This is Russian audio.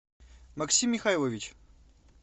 максим михайлович